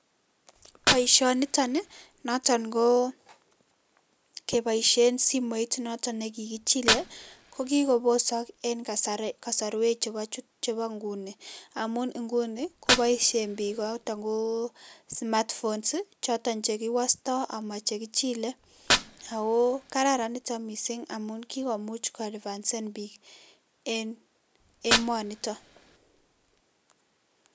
Boisionitok noton ko kepoishen simoit noto nekikichilei kokiko posok eng kasarwek chebo nguni amun nguni kopoishen biik notok ko smart phones choton chekiwastoi ako che makichilei, ko kararan nitok mising amun kikomuch ko advansan biik eng emonitok.